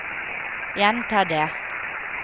gjenta det